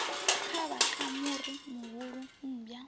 kavha ka muri muhulu mmbwa